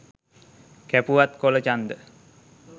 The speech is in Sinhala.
කැපුවත් කොළ චන්ද